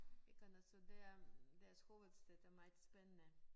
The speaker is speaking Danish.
Mykonos så der deres hovedstad er meget spændende